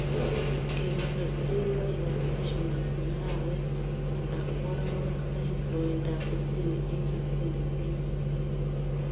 Kisib kebole keringoikab cashew nut en arawet ala koorowek oeng' loindab sitin en sitini en sitini